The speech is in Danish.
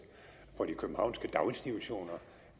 på de københavnske daginstitutioner